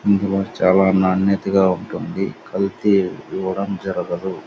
ఏది కూడా చాల వైనీతి గ ఉంటుంది. కల్తీ దూరం జరగ్తదు.